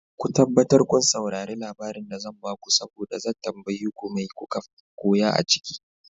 Ko tabbatar kun saurare labarin da zan bako saboda zan tambaye ku mai koka koya a ciki.